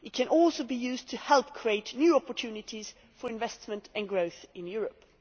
It can also be used to help create new opportunities for investment and growth in Europe.